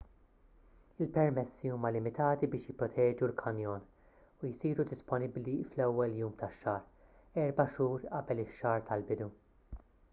il-permessi huma limitati biex jipproteġu l-kanjon u jsiru disponibbli fl-ewwel jum tax-xahar erba' xhur qabel ix-xahar tal-bidu